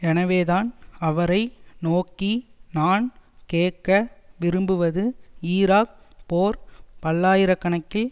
எனவேதான் அவரை நோக்கி நான் கேட்க விரும்புவது ஈராக் போர் பல்லாயிரக்கணக்கில்